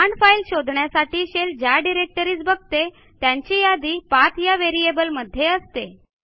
command file शोधण्यासाठी shell ज्या directories बघते त्यांची यादी पाठ या व्हेरिएबल मध्ये असते